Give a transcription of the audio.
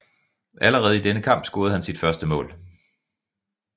Allerede i denne kamp scorede han sit første mål